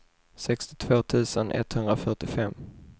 sextiotvå tusen etthundrafyrtiofem